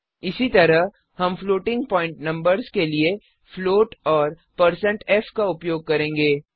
इसी तरह हम फ्लोटिंग प्वॉइंट नंबर्स के लिए फ्लोट और160f का उपयोग करेंगे